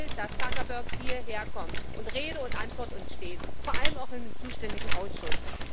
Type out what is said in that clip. Ich will, dass Zuckerberg hierherkommt und uns Rede und Antwort steht, vor allem auch im zuständigen Ausschuss.